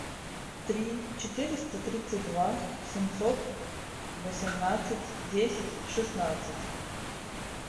три четыреста тридцать два семьсот восемнадцать десять шестнадцать